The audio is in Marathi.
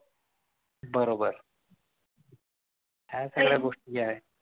बरोबर ह्या सगळ्या गोष्टी आहेत.